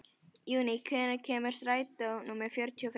Júní, hvenær kemur strætó númer fjörutíu og fimm?